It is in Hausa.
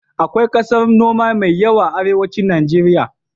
Akwai ƙasar noma mai yawa a arewacin Najeriya.